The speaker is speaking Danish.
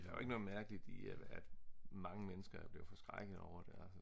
der er jo ikke noget mærkeligt i at mange mennesker blev forskrækket over det